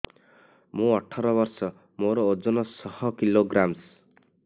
ମୁଁ ଅଠର ବର୍ଷ ମୋର ଓଜନ ଶହ କିଲୋଗ୍ରାମସ